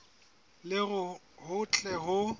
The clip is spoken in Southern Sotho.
le hore ho tle ho